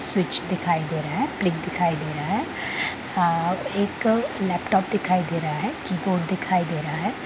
Switch दिखाई दे रहे है पलिंक दिखाई दे रहा है एक लैपटॉप दिखाई दे रहा है कीबोर्ड दिखाई दे रहे है।